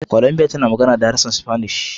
Columbia, tana magana da harshe spanish